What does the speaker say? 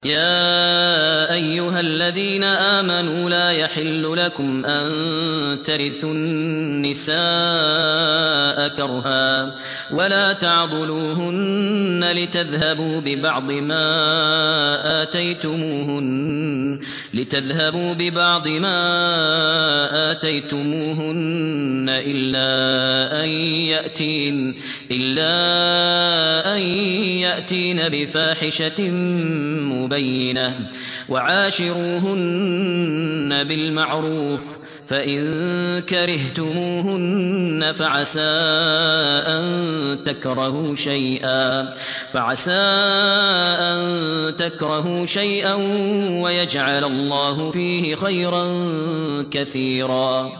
يَا أَيُّهَا الَّذِينَ آمَنُوا لَا يَحِلُّ لَكُمْ أَن تَرِثُوا النِّسَاءَ كَرْهًا ۖ وَلَا تَعْضُلُوهُنَّ لِتَذْهَبُوا بِبَعْضِ مَا آتَيْتُمُوهُنَّ إِلَّا أَن يَأْتِينَ بِفَاحِشَةٍ مُّبَيِّنَةٍ ۚ وَعَاشِرُوهُنَّ بِالْمَعْرُوفِ ۚ فَإِن كَرِهْتُمُوهُنَّ فَعَسَىٰ أَن تَكْرَهُوا شَيْئًا وَيَجْعَلَ اللَّهُ فِيهِ خَيْرًا كَثِيرًا